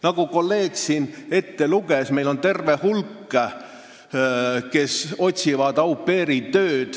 Nagu kolleeg siin ette luges, meil on terve hulk inimesi, kes otsivad tööd au pair'ina.